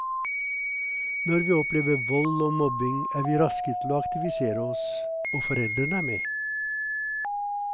Når vi opplever vold og mobbing er vi raske til å aktivisere oss, og foreldrene er med.